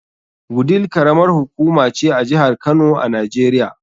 Wudil karamar hukuma ce a jihar Kano a Najeriya.